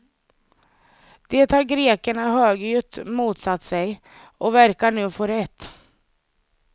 Det har grekerna högljutt motsatt sig, och verkar nu få rätt.